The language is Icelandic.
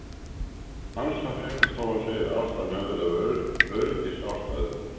ANSA fréttastofan segir að ástæðan hafi verið af öryggisástæðum.